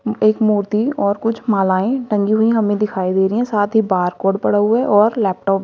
एक मूर्ति और कुछ मालाये टंगी हुई हमें दिखाई दे रही हैं साथ ही बारकोड पड़ा हुआ है और लैपटॉप --